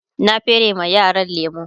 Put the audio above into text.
na fere ma yaran lemu